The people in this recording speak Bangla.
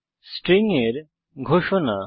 স্ট্রিং এর ঘোষণা